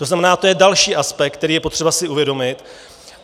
To znamená, to je další aspekt, který je potřeba si uvědomit.